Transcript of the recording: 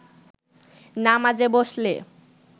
নামাজে বসলে